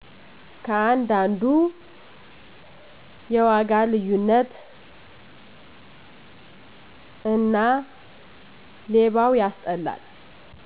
ከአንድ አንዱ የዋጋ ልዩነት እና ሌባው ያስጠላል